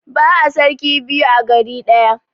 Ba'a sarki biyu a gari ɗaya.